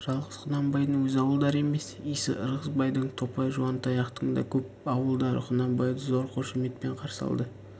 жалғыз құнанбайдың өз ауылдары емес исі ырғызбайдың топай жуантаяқтың да көп ауылдары құнанбайды зор қошеметпен қарсы алды